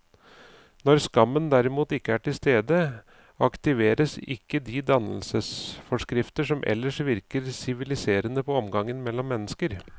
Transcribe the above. Når skammen derimot ikke er til stede, aktiveres ikke de dannelsesforskrifter som ellers virker siviliserende på omgangen mellom mennesker.